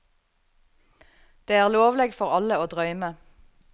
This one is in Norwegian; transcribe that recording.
Det er lovleg for alle å drøyme.